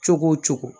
Cogo o cogo